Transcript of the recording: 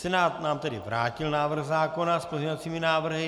Senát nám tedy vrátil návrh zákona s pozměňovacími návrhy.